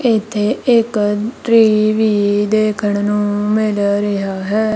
ਇੱਥੇ ਇੱਕ ਟ੍ਰੀ ਵੀ ਦੇਖਣ ਨੂੰ ਮਿਲ ਰਿਹਾ ਹੈ।